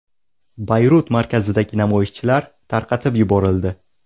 Bayrut markazidagi namoyishchilar tarqatib yuborildi.